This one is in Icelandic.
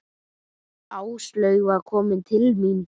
Áslaug var komin til mín.